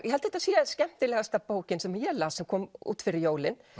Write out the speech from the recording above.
ég held þetta sé skemmtilegasta bókin sem ég las sem kom út fyrir jólin